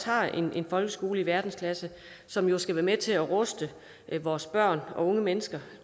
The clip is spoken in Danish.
har en folkeskole i verdensklasse som jo skal være med til at ruste vores børn og unge mennesker